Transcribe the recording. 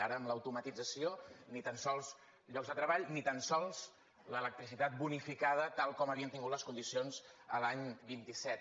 ara amb l’automatització ni tan sols llocs de treball ni tan sols l’electricitat bonificada tal com havien tingut les condicions de l’any vint set